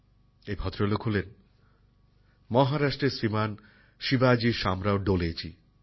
এই ভদ্রলোক হলেন মহারাষ্ট্রের শ্রীমান শিবাজী শামরাও ডোলেজি